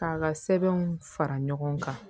K'a ka sɛbɛnw fara ɲɔgɔn kan